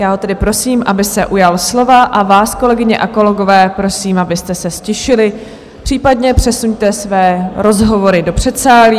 Já ho tedy prosím, aby se ujal slova, a vás, kolegyně a kolegové, prosím, abyste se ztišili, případně přesuňte své rozhovory do předsálí.